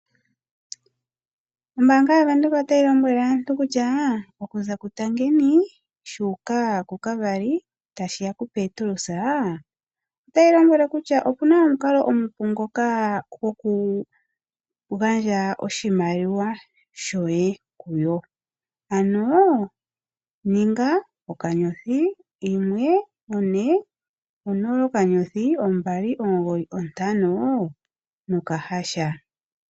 Ombaanga yaVenduka otayi lombwele aantu kutya okuza kuTangeni shu uka kuKavari tashi ya kuPetrus otayi lombwele kutya opu na omukalo omupu ngoka gokugandja oshimaliwa shoye kuyo. Ano ninga *140* 295#.